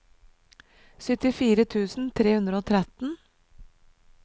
syttifire tusen tre hundre og tretten